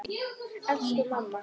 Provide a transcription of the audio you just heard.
Elsku mamma!